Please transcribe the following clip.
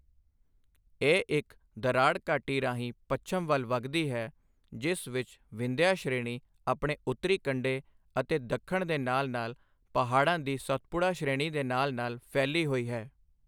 ਇਹ ਇੱਕ ਦਰਾੜ ਘਾਟੀ ਰਾਹੀਂ ਪੱਛਮ ਵੱਲ ਵਗਦੀ ਹੈ, ਜਿਸ ਵਿੱਚ ਵਿੰਧਿਆ ਸ਼੍ਰੇਣੀ ਆਪਣੇ ਉੱਤਰੀ ਕੰਢੇ ਅਤੇ ਦੱਖਣ ਦੇ ਨਾਲ ਨਾਲ ਪਹਾੜਾਂ ਦੀ ਸਤਪੁੜਾ ਸ਼੍ਰੇਣੀ ਦੇ ਨਾਲ ਨਾਲ ਫੈਲੀ ਹੋਈ ਹੈ।